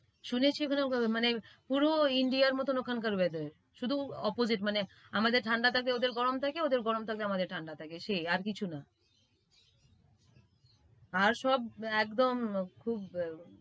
শুনেছি ওখানেমানে পুরো India মতো ওখানকার weather শুধু opposite মানে, আমাদের ঠাণ্ডা থাকলে ওদের গরম থাকে, ওদের গরম থাকলে আমাদের ঠাণ্ডা থাকে সেই আর কিছু না। আর সব একদম খুব,